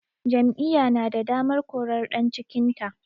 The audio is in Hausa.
Jam'iyya na da damar korar ɗan cikinta